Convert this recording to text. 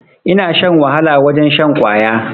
Ina shan wahala wajen shan kwaya